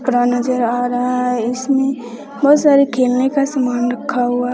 नजर आ रहा है इसमें बहुत सारे खेलने का सामान रखा हुआ है।